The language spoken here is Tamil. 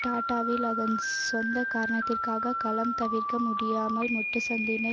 டாடாவில் அதன் சொந்த காரணத்திற்கான கலகம் தவிர்க்க முடியாமல் முட்டுச்சந்தினை